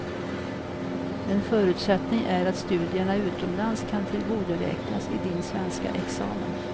En förutsättning är att studierna utomlands kan tillgodoräknas i din svenska examen.